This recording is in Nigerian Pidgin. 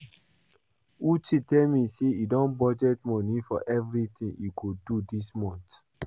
Uche tell me say he don budget money for everything he go do dis month